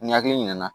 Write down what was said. Ni hakili ɲina na